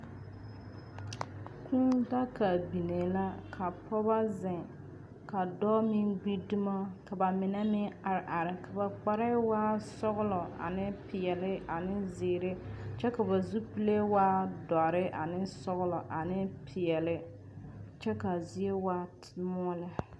Kũũ daga biŋee laa ka pͻgeba zeŋ ka dͻͻ meŋ gbi dumo ka ba mine meŋ are are, ka ba kparԑԑ waa sͻgelͻ aneŋ peԑle aneŋ zeere kyԑ ka ba zupile doͻre ane sͻgelͻ ane peԑle kyԑ kaa zie waa mõͻ lԑ.